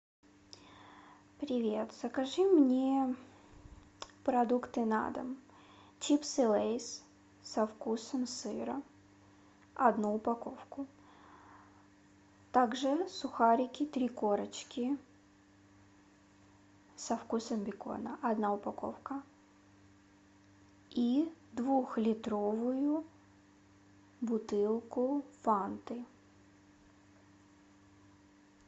привет закажи мне продукты на дом чипсы лейс со вкусом сыра одну упаковку также сухарики три корочки со вкусом бекона одна упаковка и двухлитровую бутылку фанты